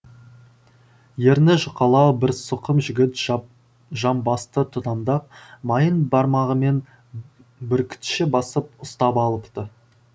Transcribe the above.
ерні жұқалау бір сұқым жігіт жап жамбасты тұтамдап майын бармағымен бүркітше басып ұстап алыпты